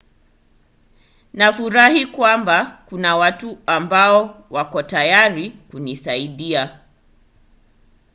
nafurahi kwamba kuna watu ambao wako tayari kunisaidia